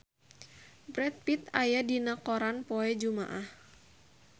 Brad Pitt aya dina koran poe Jumaah